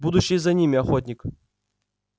будущее за ними охотник